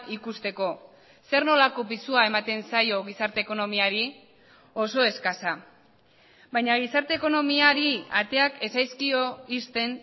ikusteko zer nolako pisua ematen zaio gizarte ekonomiari oso eskasa baina gizarte ekonomiari ateak ez zaizkio ixten